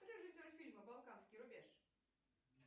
кто режиссер фильма балканский рубеж